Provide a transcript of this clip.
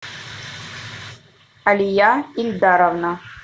алия ильдаровна